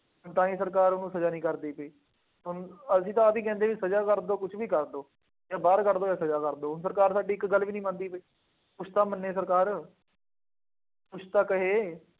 ਤਾਂ ਹੀ ਸਰਕਾਰ ਉਹਨੂੰ ਸਜ਼ਾ ਨਹੀਂ ਕਰਦੀ ਪਈ। ਹੁਣ ਅਸੀਂ ਤਾਂ ਆਪ ਹੀ ਕਹਿੰਦੇ ਬਈ ਸਜ਼ਾ ਕਰ ਦਿਉ, ਕੁੱਛ ਵੀ ਕਰ ਦਿਉ। ਜਾਂ ਬਾਹਰ ਕੱਢ ਦਿਉ ਜਾਂ ਸਜ਼ਾ ਕਰ ਦਿਉ। ਸਰਕਾਰ ਸਾਡੀ ਇੱਕ ਗੱਲ ਵੀ ਨਹੀਂ ਮੰਨਦੀ ਪਈ। ਕੁੱਛ ਤਾਂ ਮੰਨੇ ਸਰਕਾਰ ਕੁੱਛ ਤਾਂ ਕਹੇ।